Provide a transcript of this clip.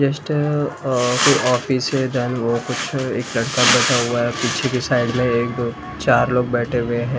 Just uh कोई office है then वो कुछ एक लड़का बैठा हुआ है पीछे की साइड में एक दो चार लोग बैठे हुए है ।